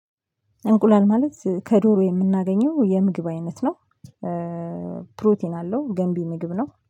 እንቁላል ማለት ከዶሮ የምናገኘው የምግብ አይነት ነው። ፕሮቲን አለው ገንቢ ምግብ ነው